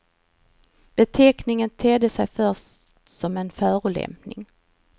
Beteckningen tedde sig först som en förolämpning.